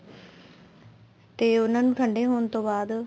ਤੇ ਉਹਨਾ ਨੂੰ ਠੰਡੇ ਹੋਣ ਤੋਂ ਬਾਅਦ